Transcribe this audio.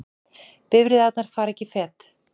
Bifreiðarnar fara ekki fet